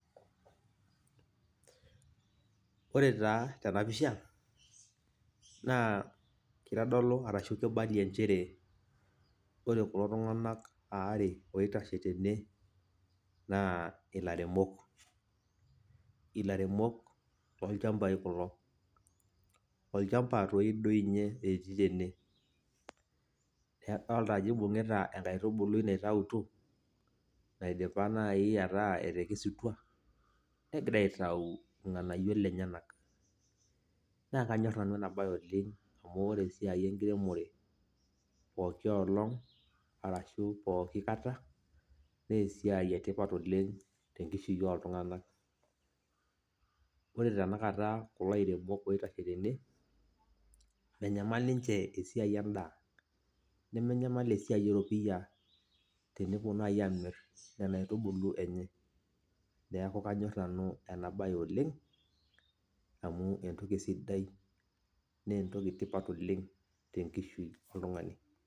Ore taa tenapisha, naa kitodolu arashu kibalie njere, ore kulo tung'anak aare oitashe tene, naa ilairemok. Ilairemok lolchambai kulo. Olchamba toi doinye etii tene. Adolta ajo ibung'ita enkaitubului naitautuo, naidipa nai ataa etekesutua, negira aitau irng'anayio lenyanak. Na kanyor nanu enabae oleng' amu ore esiai enkiremore pooki olong, arashu pooki kata, nesiai etipat oleng' tenkishui oltung'anak. Ore tanakata kulo airemok oitashe tene, menyamal ninche esiai endaa. Nemenyamal esiai eropiyia tenepuo nai amir nena aitubulu enye. Neeku kanyor nanu enabae oleng', amu entoki sidai, nentoki tipat oleng' tenkishui oltung'ani.